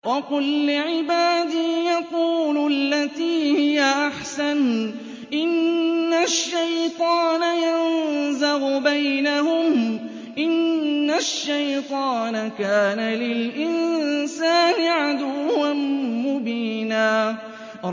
وَقُل لِّعِبَادِي يَقُولُوا الَّتِي هِيَ أَحْسَنُ ۚ إِنَّ الشَّيْطَانَ يَنزَغُ بَيْنَهُمْ ۚ إِنَّ الشَّيْطَانَ كَانَ لِلْإِنسَانِ عَدُوًّا مُّبِينًا